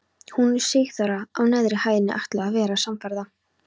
Hún og Sigþóra á neðri hæðinni ætluðu að vera samferða.